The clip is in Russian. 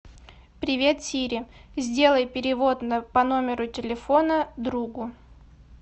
привет сири сделай перевод по номеру телефона другу